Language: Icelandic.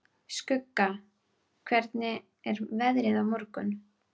Skugga, hvernig er veðrið á morgun?